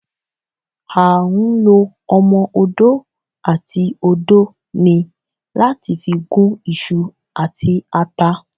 À ń lọ omọ-òdó atí òdó ní láti fi gún iṣu àti àtá